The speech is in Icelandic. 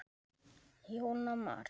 Jóna María.